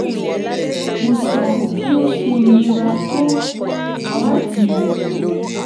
mo sọ bi ó ṣe nira tó láti